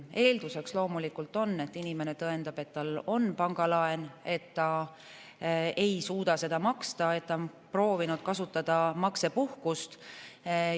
Eeldus on loomulikult see, et inimene tõendab, et tal on pangalaen, aga ta ei suuda seda maksta ja ta on proovinud kasutada maksepuhkust.